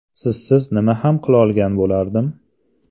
Sizsiz nima ham qilolgan bo‘lardim?